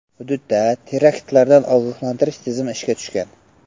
Hududda teraktlardan ogohlantirish tizimi ishga tushgan.